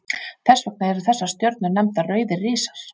Þess vegna eru þessar stjörnur nefndar rauðir risar.